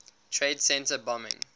trade center bombing